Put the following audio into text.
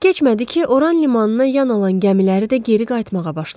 Çox keçmədi ki, Oran limanına yan alan gəmiləri də geri qayıtmağa başladılar.